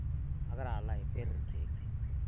agira alo aiper irkeek